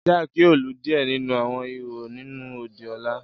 Jack yoo lu diẹ ninu awọn ihò ninu odi ọla.